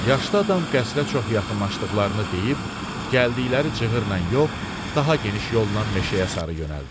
Yaşlı adam qəsrə çox yaxınlaşdıqlarını deyib, gəldikləri cığırla yox, daha geniş yolla meşəyə sarı yönəldi.